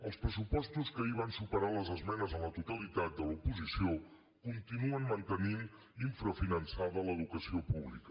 els pressupostos que ahir van superar les esmenes a la totalitat de l’oposició continuen mantenint infrafinançada l’educació pública